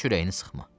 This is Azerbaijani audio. Heç ürəyini sıxma.